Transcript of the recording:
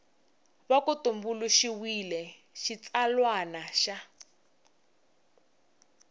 va ku tumbuluxiwile xitsalwana xa